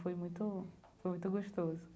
Foi muito, foi muito gostoso.